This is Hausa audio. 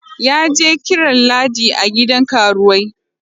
Ya je kiran Ladi a gidan karuwai.